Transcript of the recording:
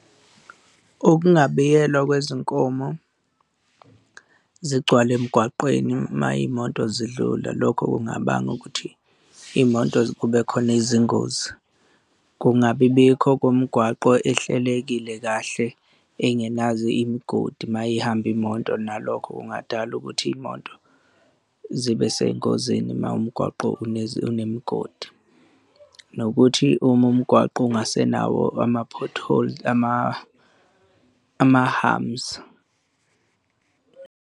Ukungabiyelwa kwezinkomo zigcwale emgwaqeni uma iy'moto zidlula, lokho kungabanga ukuthi iy'moto kube khona izingozi kungabi bikho komgwaqo ohlelekile kahle engenazo imigodi uma ihamba imoto nalokho kungadala ukuthi iy'moto zibe sey'ngozini uma umgwaqo unemigodi. Nokuthi uma umgwaqo ungasenawo ama-pothole, ama-humps.